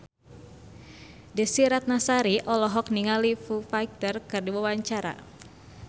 Desy Ratnasari olohok ningali Foo Fighter keur diwawancara